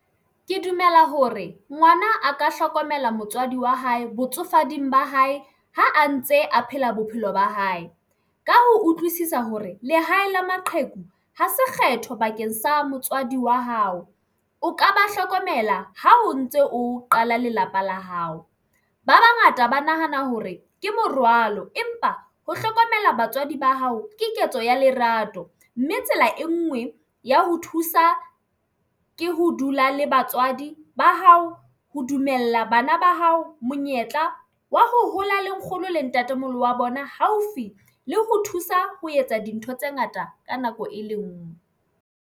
Ke dumela hore ngwana a ka hlokomela motswadi wa hae botsofading ba hae ha a ntse a phela bophelo ba hae ka ho utlwisisa hore lehae la maqheku ha se kgetho bakeng sa motswadi wa hao o ka ba hlokomela ha o ntse o qala lelapa la hao. Ba bangata ba nahana hore ke morwalo empa ho hlokomela batswadi ba hao ke ketso ya lerato mme tsela e ngwe ya ho thusa ke ho dula le batswadi ba hao ho dumella bana ba hao monyetla wa ho hola le nkgono le ntatemoholo wa bona haufi le ho thusa ho etsa dintho tse ngata ka nako e le ngwe.